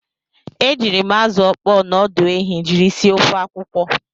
E jiiri m azụ ọkpọọ na ọdụ ehi jiri sie ofe akwụkwọ.